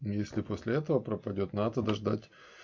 если после этого пропадёт надо ждать